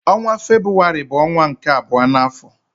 Ọnwa Febrụwarị bụ ọnwa nke abụọ n'afọ.